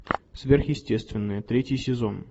сверхъестественное третий сезон